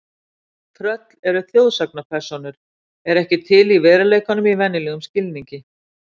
Tröll eru þjóðsagnapersónur eru ekki til í veruleikanum í venjulegum skilningi.